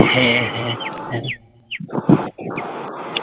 হ্যাঁ হ্যাঁ হ্যাঁ